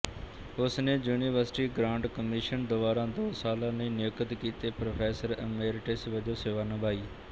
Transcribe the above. ਉਸਨੇ university grant commission ਦੁਆਰਾ ਦੋ ਸਾਲਾਂ ਲਈ ਨਿਯੁਕਤ ਕੀਤੇ ਪ੍ਰੋਫੈਸਰ ਇਮੇਰਿਟਸ ਵਜੋਂ ਸੇਵਾ ਨਿਭਾਈ